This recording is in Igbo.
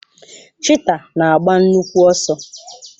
Chiita na agba nnukwu ọsọ.